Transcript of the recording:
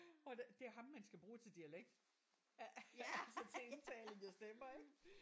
Og det det er ham man skal bruge til dialekt altså til indtaling af stemmer ik